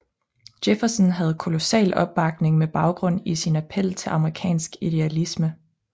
Jefferson havde kolossal opbakning med baggrund i sin appel til amerikansk idealisme